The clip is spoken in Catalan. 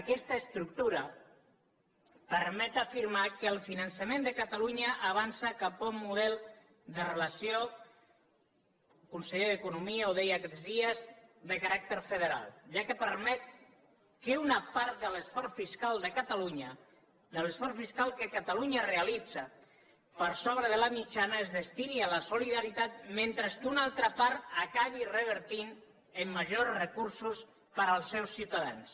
aquesta estructura permet afirmar que el finançament de catalunya avança cap a un model de relació el conseller d’economia ho deia aquests dies de caràcter federal ja que permet que una part de l’esforç fiscal de catalunya de l’esforç fiscal que catalunya realitza per sobre la mitjana es destini a la solidaritat mentre que una altra part acabi revertint en majors recursos per als seus ciutadans